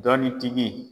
Dɔɔnin tigi